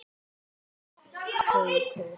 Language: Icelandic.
Elsku Haukur!